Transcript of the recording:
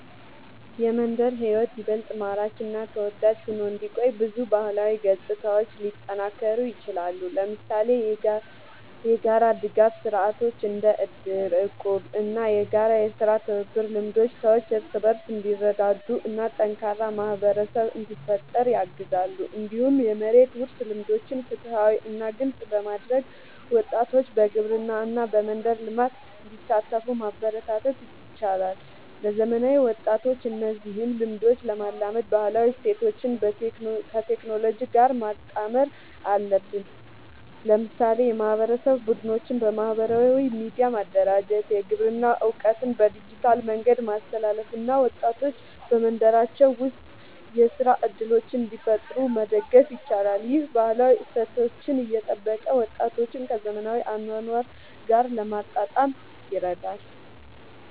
የመንደር ሕይወት ይበልጥ ማራኪ እና ተወዳጅ ሆኖ እንዲቆይ ብዙ ባህላዊ ገጽታዎች ሊጠናከሩ ይችላሉ። ለምሳሌ የጋራ ድጋፍ ስርዓቶች እንደ እድር፣ እቁብ እና የጋራ የሥራ ትብብር ልምዶች ሰዎች እርስ በርስ እንዲረዳዱ እና ጠንካራ ማህበረሰብ እንዲፈጠር ያግዛሉ። እንዲሁም የመሬት ውርስ ልምዶችን ፍትሃዊ እና ግልጽ በማድረግ ወጣቶች በግብርና እና በመንደር ልማት እንዲሳተፉ ማበረታታት ይቻላል። ለዘመናዊ ወጣቶች እነዚህን ልምዶች ለማላመድ ባህላዊ እሴቶችን ከቴክኖሎጂ ጋር ማጣመር አለብን። ለምሳሌ የማህበረሰብ ቡድኖችን በማህበራዊ ሚዲያ ማደራጀት፣ የግብርና እውቀትን በዲጂታል መንገድ ማስተላለፍ እና ወጣቶች በመንደራቸው ውስጥ የሥራ እድሎችን እንዲፈጥሩ መደገፍ ይቻላል። ይህ ባህላዊ እሴቶችን እየጠበቀ ወጣቶችን ከዘመናዊ አኗኗር ጋር ለማጣጣም ይረዳል።